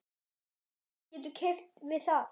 Hver getur keppt við það?